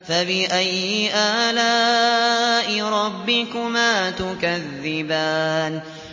فَبِأَيِّ آلَاءِ رَبِّكُمَا تُكَذِّبَانِ